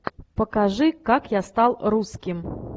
покажи как я стал русским